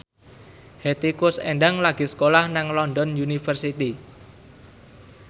Hetty Koes Endang lagi sekolah nang London University